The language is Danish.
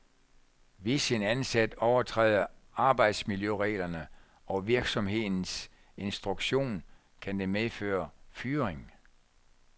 Hvis en ansat overtræder arbejdsmiljøreglerne og virksomhedens instruktion, kan det medføre fyring.